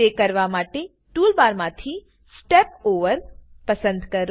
તે કરવા માટે ટુલબાર માંથી step ઓવર પસંદ કરો